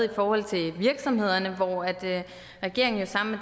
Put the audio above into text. i forhold til virksomhederne hvor regeringen jo sammen